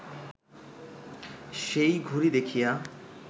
সেই ঘড়ি দেখিয়া